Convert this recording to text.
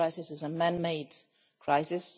This crisis is a man made crisis.